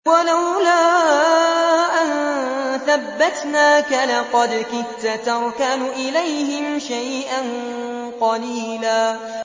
وَلَوْلَا أَن ثَبَّتْنَاكَ لَقَدْ كِدتَّ تَرْكَنُ إِلَيْهِمْ شَيْئًا قَلِيلًا